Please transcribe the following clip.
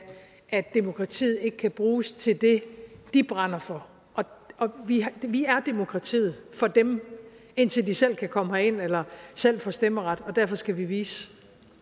at demokratiet ikke kan bruges til det de brænder for og vi er demokratiet for dem indtil de selv kan komme herind eller selv får stemmeret og derfor skal vi vise